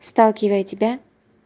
сталкивая тебя